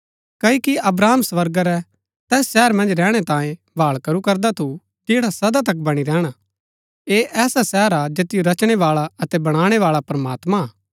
क्ओकि अब्राहम स्वर्गा रै तैस शहर मन्ज रैहणै तांये भाळ करू करदा थू जैड़ा सदा तक बणी रैहणा ऐह ऐसा शहर हा जैतिओ रचणै बाळा अतै बणाणै बाळा प्रमात्मां हा